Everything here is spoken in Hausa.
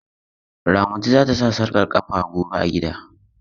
Ramatu za ta sa sarƙar ƙafa gobe a gida.